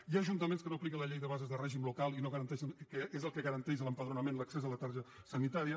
hi ha ajuntaments que no apliquen la llei de bases de règim local que és el que garanteix l’empadronament i l’accés a la tarja sanitària